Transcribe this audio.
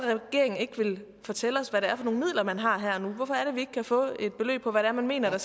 ikke fortælle os hvad det er for nogle midler man har her og nu hvorfor kan vi ikke få et beløb på hvad man mener der